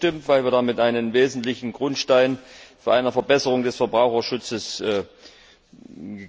Sommer zugestimmt, weil wir damit einen wesentlichen Grundstein für eine Verbesserung des Verbraucherschutzes gelegt haben.